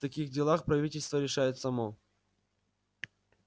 в таких делах правительство решает само